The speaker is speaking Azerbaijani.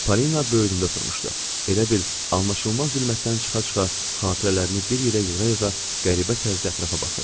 Polina böyründə oturmuşdu, elə bil anlaşılmaz zülmətdən çıxa-çıxa xatirələrini bir yerə yığa-yığa qəribə tərzdə ətrafa baxırdı.